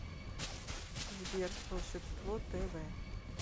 сбер волшебство тэ вэ